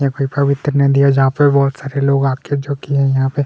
यहाँ पे पवित्र नदी है जहां पे बहुत सारे लोग आते जाते है जहाँ पे--